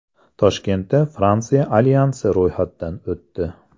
Toshkentda Fransiya alyansi ro‘yxatdan o‘tdi.